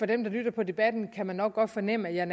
dem der lytter på debatten kan nok godt fornemme at jeg